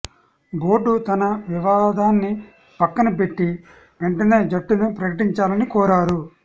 board తన వివా దాన్ని పక్కన బెట్టి వెంటనే జట్టును ప్రకటించాలని కోరారు